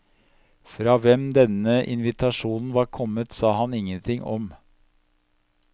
Fra hvem denne invitasjonen var kommet, sa han ingenting om.